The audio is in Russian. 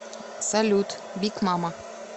салют биг мама